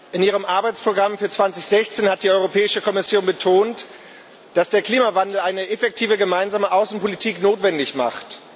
In ihrem Arbeitsprogramm für 2016 hat die Europäische Kommission betont, dass der Klimawandel eine effektive gemeinsame Außenpolitik notwendig macht.